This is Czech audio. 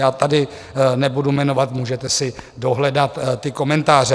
Já tady nebudu jmenovat, můžete si dohledat ty komentáře.